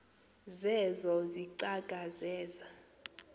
zeezo izicaka zeza